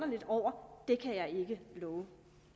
lidt over kan jeg ikke love